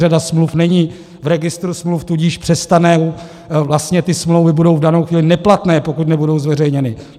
Řada smluv není v registru smluv, tudíž přestane, vlastně ty smlouvy budou v danou chvíli neplatné, pokud nebudou zveřejněny.